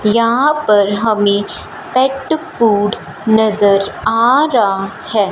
यहां पर हमें पेट फूड नजर आ रहा है।